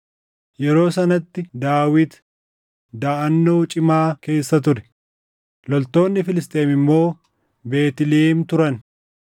Yeroo sanatti Daawit daʼannoo cimaa keessa ture; loltoonni Filisxeem immoo Beetlihem turan.